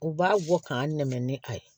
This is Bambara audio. U b'a bɔ k'an dɛmɛ ni a ye